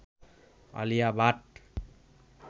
Alia Bhatt